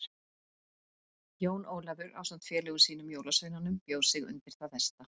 Jón Ólafur ásamt félögum sínum jólasveinunum bjó sig undir það versta.